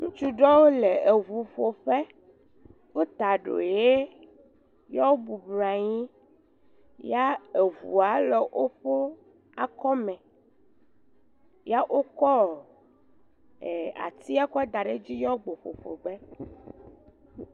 Ŋutsu ɖewo le eʋuƒoƒe. Wota eɖo ɣi ye wobɔbɔ nɔ anyi. Ya eʋua le woƒe akɔme ya wokɔ atia kɔ da ɖe edzi ye wogbɔ ƒoƒo ge.